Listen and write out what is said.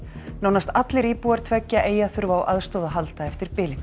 nánast allir íbúar tveggja eyja þurfa á aðstoð að halda eftir